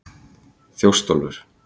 Þjóstólfur